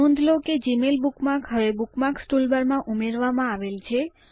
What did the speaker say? નોંધ લો કે જીમેઇલ બુકમાર્ક હવે બુકમાર્ક્સ ટૂલબારમાં ઉમેરવામાં આવેલ છે